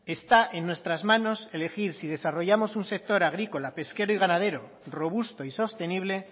está en nuestras manos elegir si desarrollamos un sector agrícola pesquero y ganadero robusto y sostenible